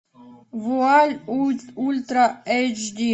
вуаль ультра эйч ди